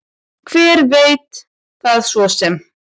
Hver veit það svo sem.